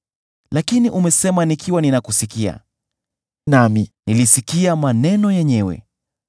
“Lakini umesema nikiwa ninakusikia, nami nilisikia maneno yenyewe: